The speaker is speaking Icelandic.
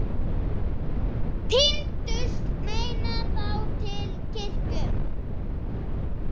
Tíndust menn þá til kirkju.